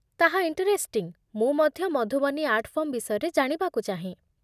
ତାହା ଇଣ୍ଟରେଷ୍ଟିଂ, ମୁଁ ମଧ୍ୟ ମଧୁବନୀ ଆର୍ଟ ଫର୍ମ ବିଷୟରେ ଜାଣିବାକୁ ଚାହେଁ